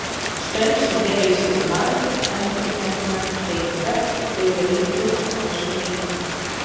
Störf sem fela í sér margendurteknar hreyfingar auka líkur á þessum einkennum.